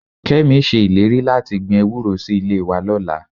Kẹ́mi ṣe ìlérí láti gbin ewúró sí ilé wa lọ́la